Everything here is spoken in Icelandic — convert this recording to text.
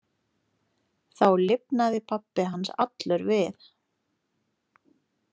Þá lifnaði pabbi hans allur við.